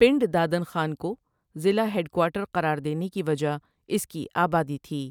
پنڈ دادن خان کو ضلع ہیڈ کوارٹر قراردینے کی وجہ اس کی آبادی تھی۔